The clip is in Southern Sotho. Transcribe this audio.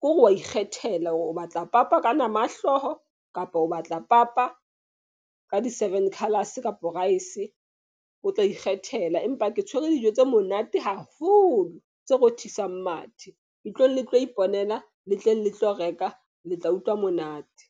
ke hore wa ikgethela hore o batla papa ka nama ya hlooho kapa o batla papa ka di seven colors, kapo rice o tla ikgethela. Empa ke tshwere dijo tse monate haholo, tse rothisang mathe ntlong le tlo iponela le tleng le tlo reka le tla utlwa monate.